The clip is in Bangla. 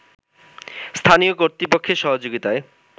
স্থানীয় কর্তৃপক্ষের সহযোগিতায়